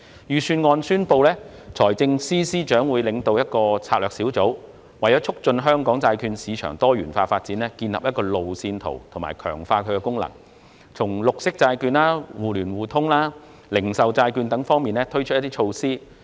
財政司司長在預算案中宣布，他會領導一個策略小組，為促進香港債券市場的多元化發展建立路線圖，並強化債券市場的功能，亦會就綠色債券、互聯互通及零售債券等方面推出措施。